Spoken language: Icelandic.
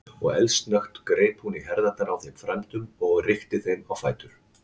Og eldsnöggt greip hún í herðarnar á þeim frændum og rykkti þeim á fætur.